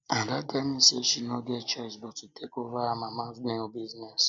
ada tell me say she no get choice but to take over her mama nail business